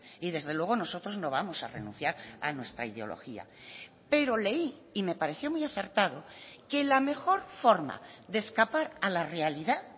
y desde luego nosotros no vamos a renunciar a nuestra ideología pero leí y me pareció muy acertado que la mejor forma de escapar a la realidad